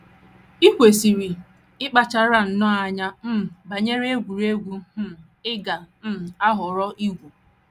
I kwesịrị ịkpachara nnọọ anya um banyere egwuregwu um ị ga - um ahọrọ igwu. ”